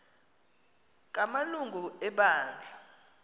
kama lungu ebandla